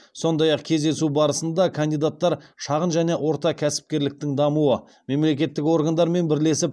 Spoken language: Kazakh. сондай ақ кездесу барысында кандидаттар шағын және орта кәсіпкерліктің дамуы мемлекеттік органдармен бірлесіп